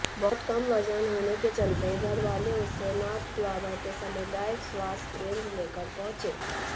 बहुत कम वजन होने के चलते घरवाले उसे नाथद्वारा के सामुदायिक स्वास्थ्य केंद्र लेकर पहुंचे